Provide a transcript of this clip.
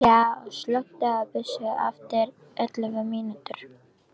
Kaj, slökktu á þessu eftir ellefu mínútur.